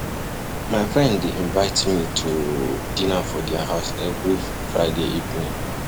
My friend dey invite me to dinner for their house every Friday evening.